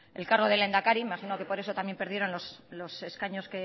el cargo de lehendakari imagino que por eso también perdieron los escaños